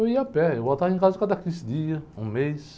Eu ia a pé, eu voltava em casa cada quinze dias, um mês.